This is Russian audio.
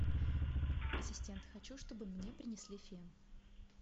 ассистент хочу чтобы мне принесли фен